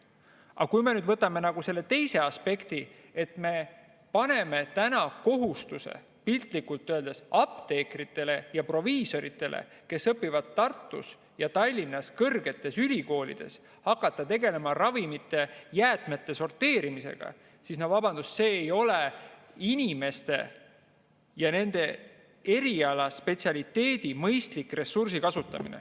Aga võtame selle teise aspekti, et me paneme piltlikult öeldes apteekritele ja proviisoritele, kes õpivad Tartus ja Tallinnas kõrgetes ülikoolides, kohustuse hakata tegelema ravimijäätmete sorteerimisega – vabandust, see ei ole nende inimeste ja nende eriala spetsialiteedi mõttes mõistlik ressursi kasutamine.